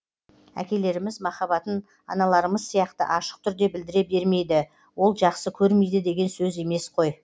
әкелеріміз махаббатын аналарымыз сияқты ашық түрде білдіре бермейді ол жақсы көрмейді деген сөз емес қой